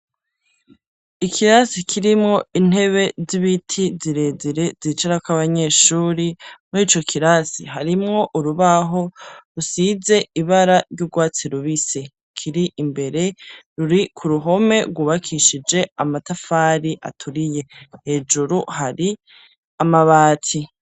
Ikirasi kirimwo intebe z'ibiti, zirezire, zicarako abanyeshuri, muri ico kirasi, harimwo urubaho rusize ibara ry'urwatsi rubisi, kiri imbere, ruri ku ruhome rwubakishije amatafari aturiye; hejuru hari amabati.